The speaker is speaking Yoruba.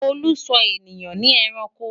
olú sò ènìyàn ní ẹranko